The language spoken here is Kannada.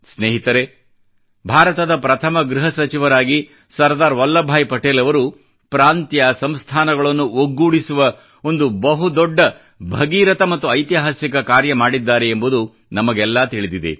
ಸ್ನೇಹಿತರೇ ಭಾರತದ ಪ್ರಥಮ ಗೃಹ ಸಚಿವರಾಗಿ ಸರ್ದಾರ್ ವಲ್ಲಭ್ ಭಾಯಿ ಪಟೇಲ್ ಅವರು ಪ್ರಾಂತ್ಯ ಸಂಸ್ಥಾನಗಳನ್ನು ಒಗ್ಗೂಡಿಸುವ ಒಂದು ಬಹು ದೊಡ್ಡ ಭಗೀರಥ ಮತ್ತು ಐತಿಹಾಸಿಕ ಕಾರ್ಯ ಮಾಡಿದ್ದಾರೆ ಎಂಬುದು ನಮಗೆಲ್ಲಾ ತಿಳಿದಿದೆ